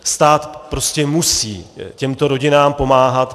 Stát prostě musí těmto rodinám pomáhat.